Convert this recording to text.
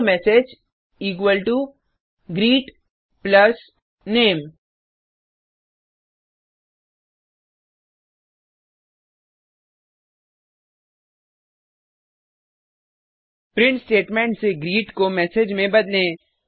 string MSG equal to greet plus name print statement से greet को message में बदले